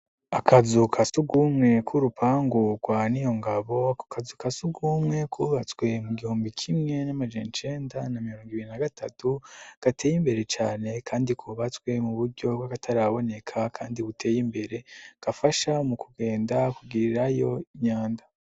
Akazu ka sugumwe k'urupangu rwa Niyongabo, akazu ka sugumwe kubatswe mu gihumbi kimwe n'amajana icenda na mirongo itatu gateye imbere cane kandi kubatswe mu buryo bw'akataraboneka kandi buteye imbere gafasha mu kugenda kugirirayo imyanda.